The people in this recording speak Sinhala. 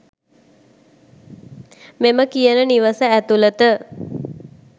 මෙම කියන නිවස ඇතුළත